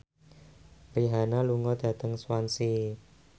Rihanna lunga dhateng Swansea